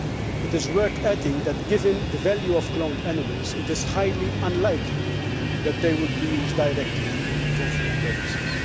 It is worth adding that, given the value of cloned animals, it is highly unlikely that they would be used directly for food purposes.